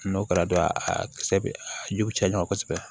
N'o kɛra dɔrɔn a kisɛ bɛ a jiw bɛ caya ɲɔgɔn kosɛbɛ